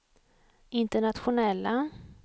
internationella